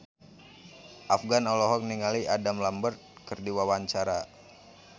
Afgan olohok ningali Adam Lambert keur diwawancara